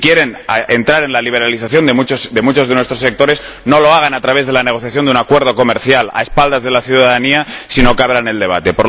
Si quieren entrar en la liberalización de muchos de nuestros sectores, no lo hagan a través de la negociación de un acuerdo comercial a espaldas de la ciudadanía, sino que abran el debate.